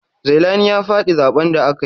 Zailani ya faɗi zaɓen da aka yi.